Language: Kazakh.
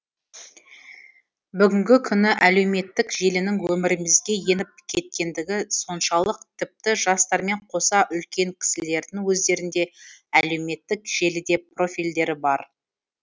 бүгінгі күні әлеуметтік желінің өмірімізге еніп кеткендігі соншалық тіпті жастармен қоса үлкен кісілердің өздерінде әлеуметтік желіде профильдері бар